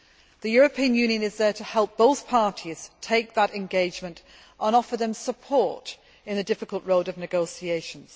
The European Union is there to help both parties take that engagement and offer them support on the difficult road of negotiations.